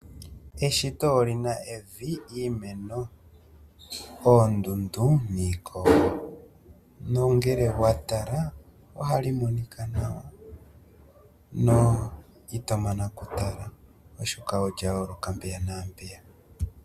Eshito olina evi, iimeno, oondundu niiikogo. Nongele owa tala, ohali monika nawa, na ito mana oku tala oshoka olya yooloka mpeya naampeyaka.